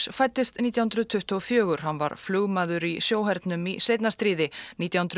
fæddist nítján hundruð tuttugu og fjögur hann var flugmaður í sjóhernum í seinna stríði nítján hundruð